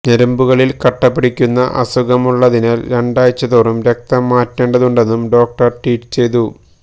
ഞരമ്പുകളില് രക്തം കട്ടപിടിക്കുന്ന അസുഖമുള്ളതിനാല് രണ്ടാഴ്ച്ച തോറും രക്തം മാറ്റേണ്ടതുണ്ടെന്നും ഡോക്ടര് ട്വീറ്റ് ചെയ്തു